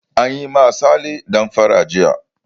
An yi wa sale damfara jiya.